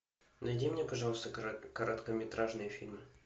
найди мне пожалуйста короткометражные фильмы